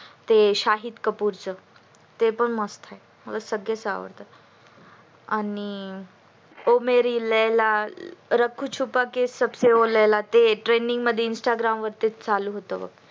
ते शाहिद कपूर च ते पण मस्त आहे मला सगळेच आवडतात आणि ओ मेरी लैला रखू छुपाके संबसे ओ लैला त्यातील instagram वर ते चालू होत